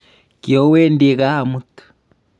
kiowendii kaa amut